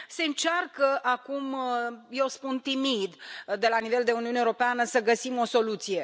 Se încearcă acum eu spun timid de la nivel de Uniune Europeană să găsim o soluție.